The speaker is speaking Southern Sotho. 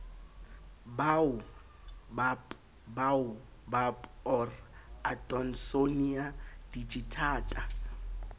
baobab baobab or adonsonia digitata